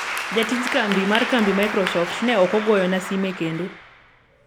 jatij kambi mar kambi microsoft ne okogoyona sime kendo